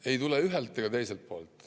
Ei tule ühelt ega teiselt poolt.